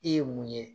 I ye mun ye